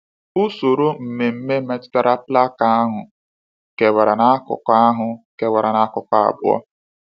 Usoro mmemme metụtara plaka ahụ kewara n’akụkụ ahụ kewara n’akụkụ abụọ.